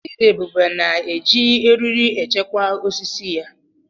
Chidiebube na-eji eriri echekwa osisi ya.